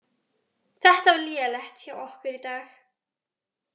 Þetta var lélegt hjá okkur í dag.